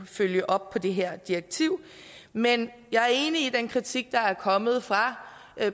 følge op på det her direktiv men jeg er enig i den kritik der er kommet fra